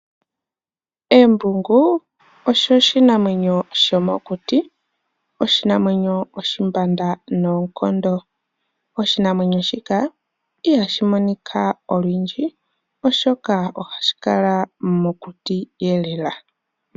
Embungu olyo oshinamwenyo sho mokuti, oshinamwenyo oshimbanda noonkondo. Oshinamwenyo shika iha shi monika olundji, oshoka oha shi kala mokuti lela.